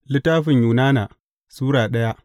Yunana Sura daya